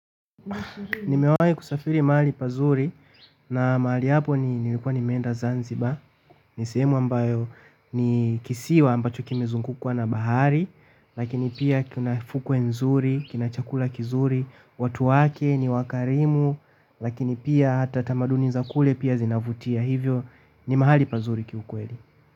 Nimewahi kusafiri mahali pazuri na mahali hapo ni nilikuwa nimeenda Zanzibar. Ni sehemu ambayo ni kisiwa ambacho kimezungukwa na bahari lakini pia kuna fukwe nzuri, kina chakula kizuri, watu wake ni wakarimu lakini hata tamaduni za kule pia zinavutia, kwa hivyo ni mahali pazuri kiukweli.